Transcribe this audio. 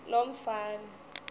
lomfana